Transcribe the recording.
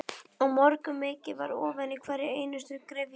Á morgun mokið þið ofan í hverja einustu gryfju.